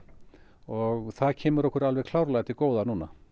og það kemur okkur klárlega til góða núna